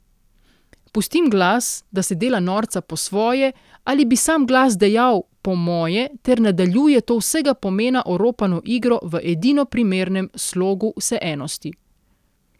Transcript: Pustim glas, da se dela norca po svoje, ali, bi sam glas dejal, po moje, ter nadaljuje to vsega pomena oropano igro v edino primernem slogu vseenosti.